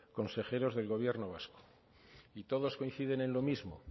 consejeros del gobierno vasco y todos coinciden en lo mismo